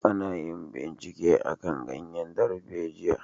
A na yin bincike akan ganyen darbejiya